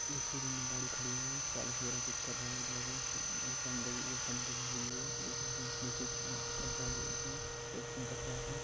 एक शोरुम गाडी खड़ी है पार्ट्स वगेरा कुछ कर रहे है पन दगी पंडगी हुई है उस उस उसमे कर है उसमे सर्विसिंग कर रहा है।